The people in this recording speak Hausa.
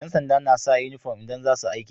Yan sanda nasa inufom idan zasu aiki